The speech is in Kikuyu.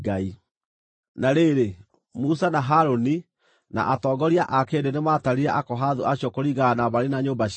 Na rĩrĩ, Musa, na Harũni, na atongoria a kĩrĩndĩ nĩmatarire Akohathu acio kũringana na mbarĩ na nyũmba ciao.